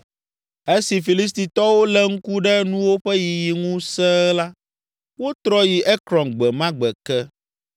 Esi Filistitɔwo lé ŋku ɖe nuwo ƒe yiyi ŋu sẽe la, wotrɔ yi Ekron gbe ma gbe ke.